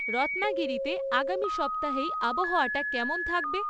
রত্নাগিরিতে আগামী সপ্তাহেই আবহাওয়াটা কেমন থাকবে?